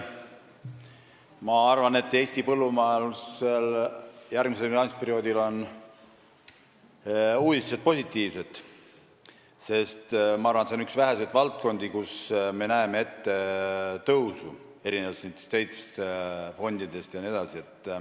Ma arvan, et Eesti põllumajanduse jaoks on järgmise finantsperioodi uudised positiivsed, sest see on üks väheseid valdkondi, kus me näeme ette tõusu, erinevalt teistest fondidest.